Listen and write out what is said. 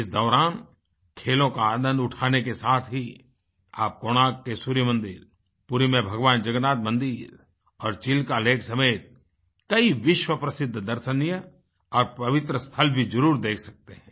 इस दौरान खेलों का आनंद उठाने के साथ ही आप कोणार्क के सूर्य मंदिर पुरी में भगवान् जगन्नाथ मंदिर और चिल्का लेक समेत कई विश्वप्रसिद्ध दर्शनीय और पवित्र स्थल भी जरुर देख सकते हैं